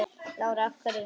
Lára: Af hverju?